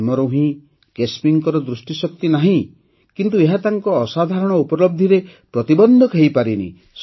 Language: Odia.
ଜନ୍ମରୁ ହିଁ କେସ୍ମିଙ୍କର ଦୃଷ୍ଟିଶକ୍ତି ନାହିଁ କିନ୍ତୁ ଏହା ତାଙ୍କ ଅସାଧାରଣ ଉପଲବ୍ଧିରେ ପ୍ରତିବନ୍ଧକ ହୋଇପାରିନି